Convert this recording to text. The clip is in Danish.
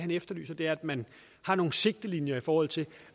efterlyses det at man har nogle sigtelinjer i forhold til